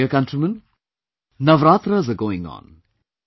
My dear countrymen, Navratras are going on